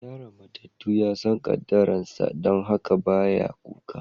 Yaron matatu ya san kaddaran sa, dan haka ba ya kuka.